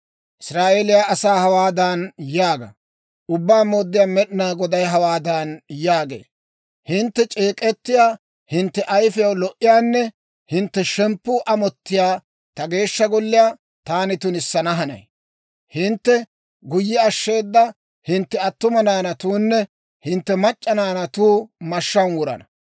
‹Israa'eeliyaa asaa hawaadan yaaga; Ubbaa Mooddiyaa Med'inaa Goday hawaadan yaagee; hintte c'eek'ettiyaa, hintte ayifiyaw lo"iyaanne hintte shemppuu amottiyaa ta Geeshsha Golliyaa taani tunissana hanay. Hintte guyye ashsheeda hintte attuma naanatuunne hintte mac'c'a naanatuu mashshaan wurana.